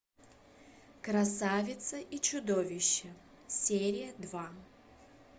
красавица и чудовище серия два